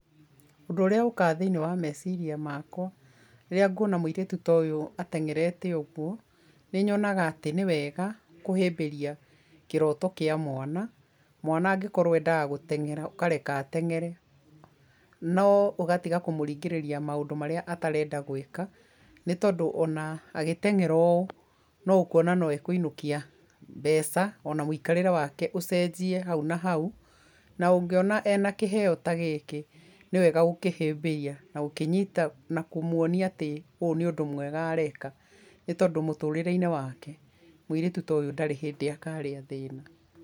Ũndũ ũrĩa ũkaga thĩiniĩ wa meciria makwa rĩrĩa nguona mũirĩtu ta ũyũ atengerete ũguo nĩ nyonaga atĩ nĩwega kũhĩmbĩria kĩroto kĩa mwana, mwana angĩkorwo endaga gũteng'era ũkareka ateng'ere, no ũgatiga kũmũringĩrĩria maũndũ marĩa atarenda gwĩka, nĩ tondũ ona agĩteng'era ũũ no ũkuona no ekũinũkia mbeca ona mũikarĩre wake ũcenjie hau na hau. Na ũngiona ena kĩheo ta gĩkĩ nĩ wega gũkĩhĩmbĩria na gũkĩnyita na kũmuonia atĩ ũũ nĩ ũndũ mwega areka. Nĩ tondũ mũtũrĩreinĩ wake mũirĩtu ta ũyũ ndarĩ hĩndĩ akarĩa thĩna.